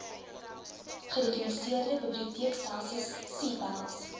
gerekenariseerde biblioteekstelsel cpals